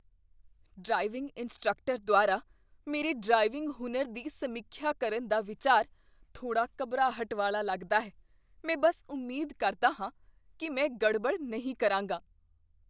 Driving instructor ਦੁਆਰਾ ਮੇਰੇ driving ਹੁਨਰ ਦੀ ਸਮੀਖਿਆ ਕਰਨ ਦਾ ਵਿਚਾਰ ਥੋੜ੍ਹਾ ਘਬਰਾਹਟ ਵਾਲਾ ਲੱਗਦਾ ਹੈ। ਮੈਂ ਬਸ ਉਮੀਦ ਕਰਦਾ ਹਾਂ ਕੀ ਮੈਂ ਗੜਬਡੜ ਨਹੀਂ ਕਰਾਂਗਾ।